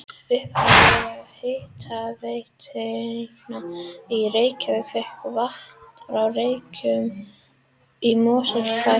Upphaflega hitaveitan í Reykjavík fékk vatn frá Reykjum í Mosfellsbæ en þar er lághitasvæði.